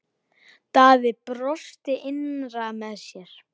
Daði brosti innra með sér.